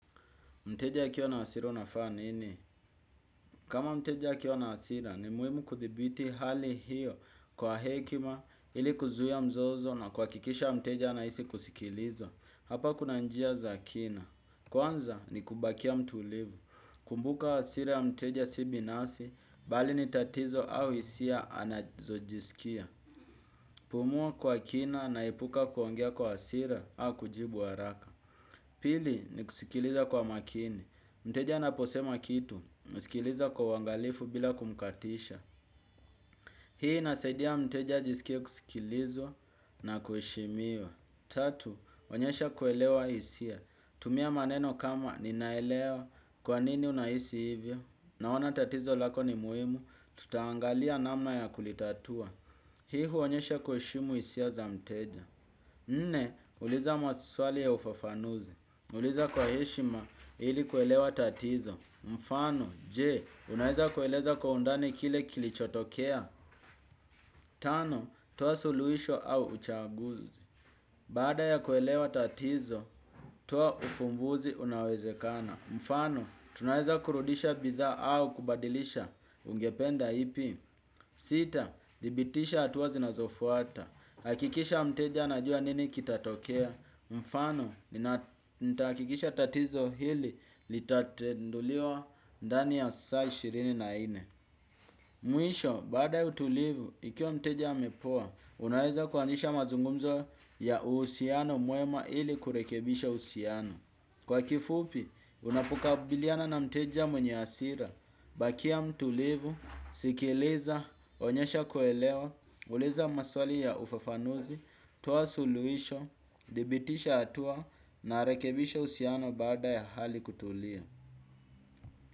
Mteja akiwa na hasira unafaa nini? Kama mteja akiwa na hasira ni muimu kuthibiti hali hiyo kwa hekima ili kuzuia mzozo na kuhakikisha mteja anaisi kusikilizwa. Hapa kuna njia za kina. Kwanza ni kubakia mtulivu. Kumbuka hasira ya mteja si binasi, bali ni tatizo au isia anazojisikia. Pumuwa kwa kina na epuka kuongea kwa asira au kujibu haraka. Pili ni kusikiliza kwa makini. Mteja naposema kitu, sikiliza kwa uwangalifu bila kumkatisha. Hii inasaidia mteja ajisikie kusikilizwa na kuheshimiwa. Tatu, onyesha kuelewa isia. Tumia maneno kama ninaelewa kwa nini unaisi hivyo. Naona tatizo lako ni muimu, tutaangalia namna ya kulitatua. Hii huonyesha kuheshimu isia za mteja. Nne, uliza maswali ya ufafanuzi. Uliza kwa heshima ili kuelewa tatizo. Mfano, je, unaeza kueleza kwa undani kile kilichotokea. Tano, toa suluhisho au uchaguzi. Baada ya kuelewa tatizo, toa ufumbuzi unaowezekana. Mfano, tunaeza kurudisha bidhaa au kubadilisha ungependa ipi. Sita, dhibitisha atua zinazofuata. Hakikisha mteja anajua nini kitatokea. Mfano, nitahakikisha tatizo hili litatenduliwa ndani ya saa ishirini na ine. Mwisho, baada ya utulivu, ikiwa mteja amepoa unaweza kuanzisha mazungumzo ya uhusiano mwema ili kurekebisha usiano. Kwa kifupi, unapokabiliana na mteja mwenye asira bakia mtulivu, sikileza, onyesha kuelewa. Uliza maswali ya ufafanuzi, toa suluisho dhibitisha atua na rekebisha usiano baada ya hali kutulia.